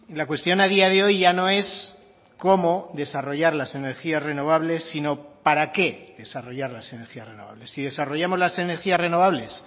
la cuestión a día de hoy ya no es cómo desarrollar las energías renovables sino para qué desarrollar las energías renovables si desarrollamos las energías renovables